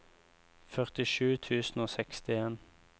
førtisju tusen og sekstien